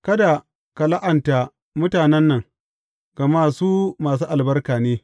Kada ka la’anta mutanen nan, gama su masu albarka ne.